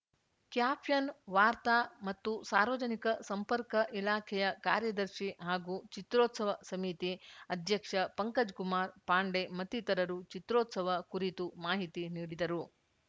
caption ವಾರ್ತಾ ಮತ್ತು ಸಾರ್ವಜನಿಕ ಸಂಪರ್ಕ ಇಲಾಖೆಯ ಕಾರ್ಯದರ್ಶಿ ಹಾಗೂ ಚಿತ್ರೋತ್ಸವ ಸಮಿತಿ ಅಧ್ಯಕ್ಷ ಪಂಕಜ್‌ ಕುಮಾರ್‌ ಪಾಂಡೆ ಮತ್ತಿತರರು ಚಿತ್ರೋತ್ಸವ ಕುರಿತು ಮಾಹಿತಿ ನೀಡಿದರು